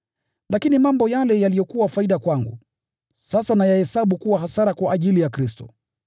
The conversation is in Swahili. Lakini mambo yale yaliyokuwa faida kwangu, sasa nayahesabu kuwa hasara kwa ajili ya Kristo.